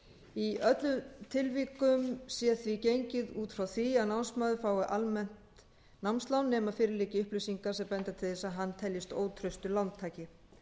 í öllum tilvikum sé því gengið út frá því að námsmaður fái almennt námslán nema fyrir liggi upplýsingar sem benda til þess að hann teljist ótraustur lántaki